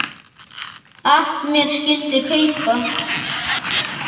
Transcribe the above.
at mér skyldi kaupa